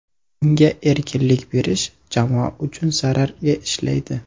Unga erkinlik berish jamoa uchun zararga ishlaydi.